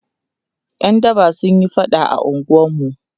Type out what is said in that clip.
ƴan daba sunyi faɗa a unguwarmu